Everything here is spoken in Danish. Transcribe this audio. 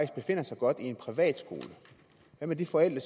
befinder sig godt i en privatskole hvad med de forældre